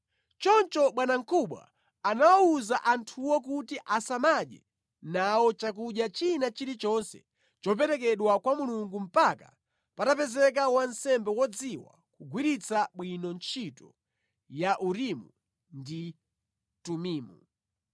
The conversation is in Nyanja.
Choncho bwanamkubwa anawawuza anthuwo kuti asamadye nawo chakudya china chilichonse choperekedwa kwa Mulungu mpaka patapezeka wansembe wodziwa kugwiritsa bwino ntchito ya Urimu ndi Tumimu.